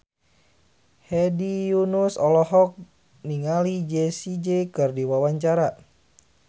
Hedi Yunus olohok ningali Jessie J keur diwawancara